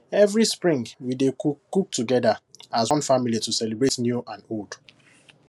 every spring we dey cook cook together as one family to celebrate new and old